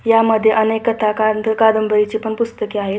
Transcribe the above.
यामध्ये अनेक कथा कादं कादांबरीची पण पुस्तके आहेत.